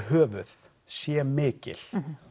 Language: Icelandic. yfirhöfuð sé mikil